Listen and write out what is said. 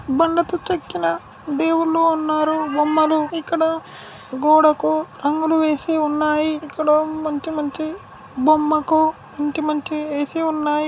బండకు చెక్కిన దేవుళ్ళు ఉన్నారు. బొమ్మలు ఇక్కడ గోడకు రంగులు వేసి ఉన్నాయి. ఇక్కడ మంచి మంచి బొమ్మకు మంచి మంచి ఏసీ ఉన్నాయి.